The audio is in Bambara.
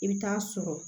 I bɛ taa sɔrɔ